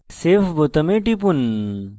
save বোতামে টিপুন